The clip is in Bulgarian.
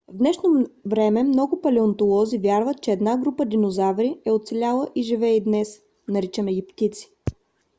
в днешно време много палеонтолози вярват че една група динозаври е оцеляла и живее и днес. наричаме ги птици